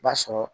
B'a sɔrɔ